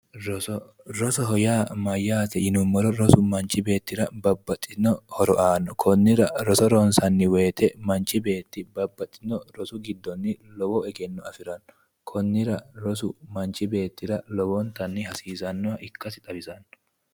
roso rosoho yaa mayyate yinummoro rosu manchi beettira babbxitino horo aanno konnira roso ronsanni woyite manchi beetti babbaxitino rosu giddoonni lowo egenno afiranno konnira rosu manchi beettira lowontanni hasiisannoha ikasi xawisanno.